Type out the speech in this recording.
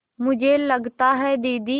मुझे लगता है दीदी